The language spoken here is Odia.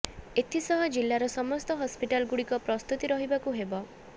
ଏଥିସହ ଜିଲ୍ଲାର ସମସ୍ତ ହସ୍ପିଟାଲ ଗୁଡିକ ପ୍ରସ୍ତୁତି ରହିବାକୁ ହେବ